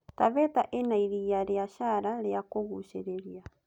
Taveta ĩna iriia rĩa Chala rĩa kũgucĩrĩria.